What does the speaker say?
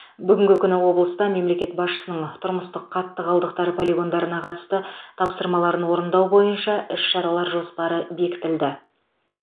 бүгінгі күні облыста мемлекет басшысының тұрмыстық қатты қалдықтар полигондарына қатысты тапсырмаларын орындау бойынша іс шаралар жоспары бекітілді